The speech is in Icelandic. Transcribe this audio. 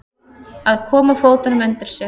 Að koma fótunum undir sig